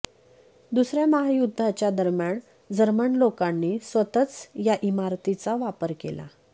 दुसर्या महायुद्धाच्या दरम्यान जर्मन लोकांनी स्वतःच या इमारतीचा वापर केला